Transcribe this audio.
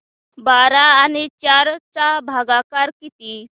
बारा आणि चार चा भागाकर किती